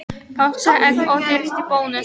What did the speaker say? Páskaegg ódýrust í Bónus